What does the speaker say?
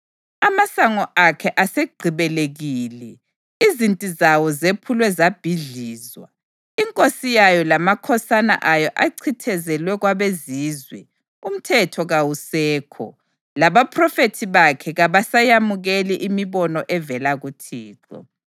Amasango akhe asegqibelekile; izinti zawo zephulwe zabhidlizwa. Inkosi yayo lamakhosana ayo achithizelwe kwabezizwe, umthetho kawusekho, labaphrofethi bakhe kabasayamukeli imibono evela kuThixo.